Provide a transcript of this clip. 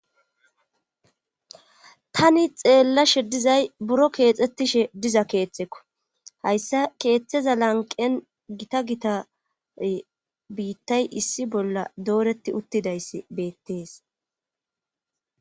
Tani xeellashe dizay buro keexxettishe diza keethteko hayssa keeththeza lanqen gita gita biittay issi bolla dooretti uttidayss beettees